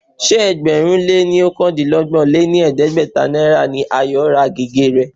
Ṣé ẹgbẹ̀rún lé ọ̀kandínọgbọ̀n lé ní ẹgbẹ́ta náírà ni Ayo ra gègé rẹ̀